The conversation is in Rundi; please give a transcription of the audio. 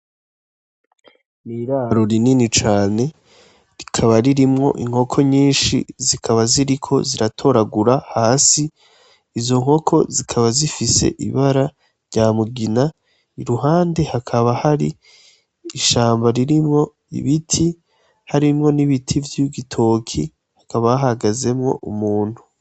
N'iraro rinini cane, rikaba ririmwo inkoko nyinshi zikaba ziriko ziratoragura hasi, izo nkoko zikaba zifise ibara rya mugina, iruhande hakaba hari ishamba ririmwo ibiti, harimwo n'ibiti vy'igitoki, hakaba hahagazemwo umuntu.